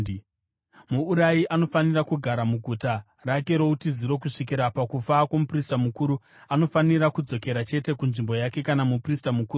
Muurayi anofanira kugara muguta rake routiziro kusvikira pakufa kwomuprista mukuru; anofanira kudzokera chete kunzvimbo yake kana muprista mukuru afa.